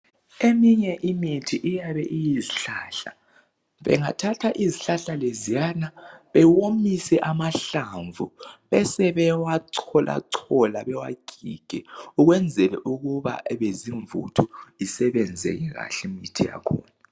Eminye imithi iyabe iyizihlahla. Bengathatha izihlahla leziyana bewomise amahlamvu, besebewa cholachola bewagige ukwenzele ukuba ebezimvuthu isebenzeke kahle imithi yakhona.